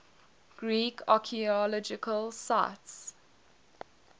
greek archaeological sites